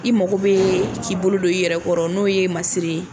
I mago bɛ k'i bolo don i yɛrɛkɔrɔ n'o ye masiri ye